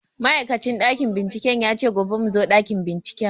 Ma'aikacin ɗakin bincike ya ce gobe mu zo ɗakin binciken